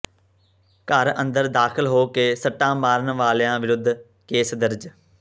ਘਰ ਅੰਦਰ ਦਾਖਲ ਹੋ ਕੇ ਸੱਟਾਂ ਮਾਰਨ ਵਾਲਿਆਂ ਵਿਰੁੱਧ ਕੇਸ ਦਰਜ